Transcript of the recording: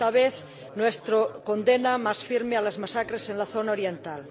Esta vez, nuestra condena más firme a las masacres en la zona oriental.